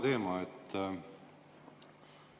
Seesama teema.